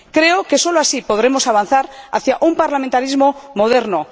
Creo que solo así podremos avanzar hacia un parlamentarismo moderno.